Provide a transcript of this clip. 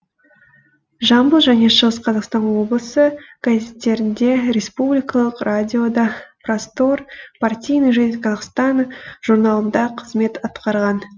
жамбыл және шығыс қазақстан облысы газеттерінде республикалық радиода простор партийная жизнь казахстана журналында қызмет атқарған